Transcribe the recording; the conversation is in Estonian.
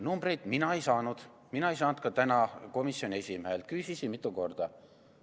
Numbreid mina ei saanud, ei saanud ka täna komisjoni esimehelt, küsisin mitu korda.